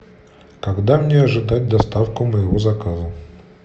когда мне ожидать доставку моего заказа